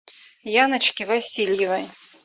яночки васильевой